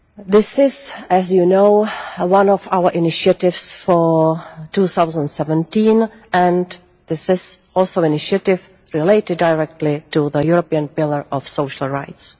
This is, as you know, one of our initiatives for 2017, and this is also an initiative related directly to the European Pillar of Social Rights.